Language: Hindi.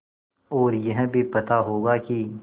और यह भी पता होगा कि